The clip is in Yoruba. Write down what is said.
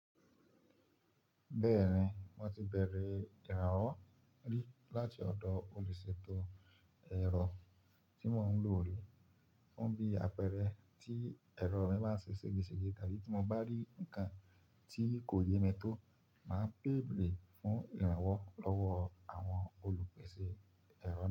Bẹ́ẹ̀ni, mo ti bẹ̀rẹ̀ ìrànwọ́ rí láti ọ̀dọ̀ olùṣètò ẹ̀rọ tí mò ń lò rí. Fún bí àpẹẹrẹ tí ẹ̀rọ mi bá ń ṣe èsìgìsìgì tàbí tí mo bá rí nǹkan tí kò yé mi tó, màá bèrè fún ìrànwọ́ lọ́wọ́ àwọn olùpèsè ẹ̀rọ náà.